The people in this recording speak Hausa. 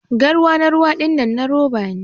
Garwa na ruwa dinnan na roba ne